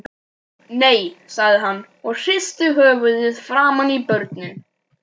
Nei, sagði hann og hristi höfuðið framan í börnin.